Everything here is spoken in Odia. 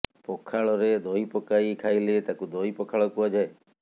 ପଖାଳରେ ଦହି ପକାଇ ଖାଇଲେ ତାକୁ ଦହି ପଖାଳ କୁହାଯାଏ